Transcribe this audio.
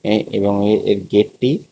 এ এবং এ-এর গেটটি--